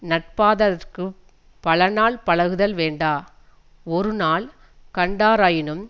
நட்பாதற்குப் பலநாள் பழகுதல் வேண்டா ஒருநாள் கண்டாராயினும்